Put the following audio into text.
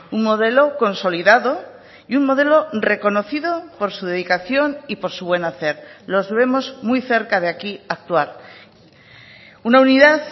un modelo consolidado y un modelo reconocido por su dedicación y por su buen hacer los vemos muy cerca de aquí actuar una unidad